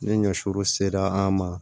Ni ɲɔsiw sera an ma